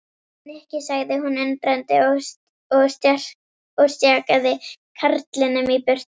Nikki sagði hún undrandi og stjakaði karlinum í burtu.